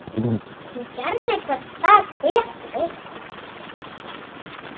Hún gerði hvern dag betri.